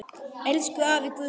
Elsku afi Guðni.